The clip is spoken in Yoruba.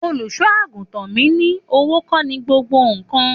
Òlúsọàgútàn mi ni, òwó kọ ni gbògbó kan